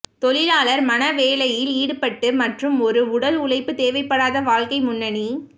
தொழிலாளர் மன வேலையில் ஈடுபட்டு மற்றும் ஒரு உடல் உழைப்பு தேவைப்படாத வாழ்க்கை முன்னணி